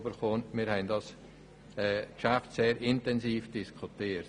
Wir haben das Geschäft sehr intensiv diskutiert.